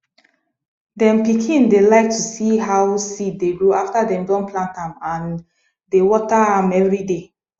dem pikin dey like to see how seed dey grow after dem don plant am and dey water am every day